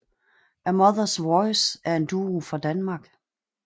A Mothers Voice er en duo fra Danmark